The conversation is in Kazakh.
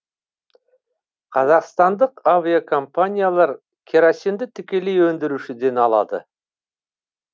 қазақстандық авиакомпаниялар керосинді тікелей өндірушіден алады